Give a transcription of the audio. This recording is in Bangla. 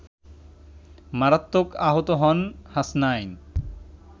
মারাত্মক আহত হন হাসনাইন